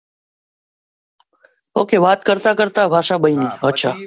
Okay વાત કરતા કરતા ભાષા બની અચ્છા.